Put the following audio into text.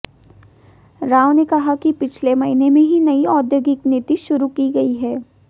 राव ने कहा कि पिछले महीने ही नई औद्योगिक नीति शुरू की गई है